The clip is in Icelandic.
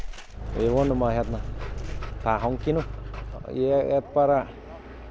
við vonum að það hangi nú ég er